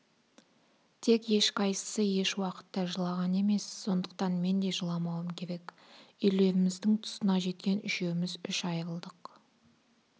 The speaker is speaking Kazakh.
тек ешқайсысы еш уақытта жылаған емес сондықтан мен де жыламауым керек үйлеріміздің тұсына жеткен үшеуміз үш айрылдық